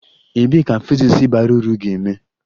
Ebee ka physics bara uru ga-eme?